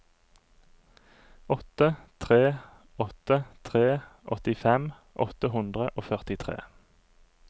åtte tre åtte tre åttifem åtte hundre og førtitre